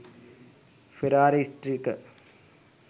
ferrari stiker